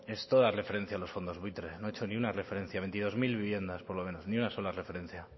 es toda referencia a los fondos buitres no ha hecho ni una referencia veintidós mil viviendas por lo menos ni una sola referencia